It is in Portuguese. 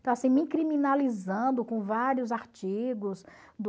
Então, assim, me criminalizando com vários artigos do...